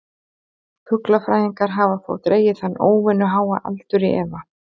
Fuglafræðingar hafa þó dregið þennan óvenju háa aldur í efa.